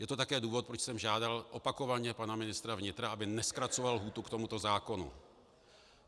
Je to také důvod, proč jsem žádal opakovaně pana ministra vnitra, aby nezkracoval lhůtu k tomuto zákonu.